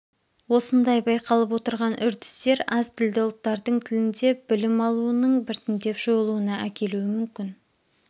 осындай байқалып отырған үрдістер аз тілді ұлттардың тілінде білім алуының біртіндеп жойылуына әкелуі мүмкін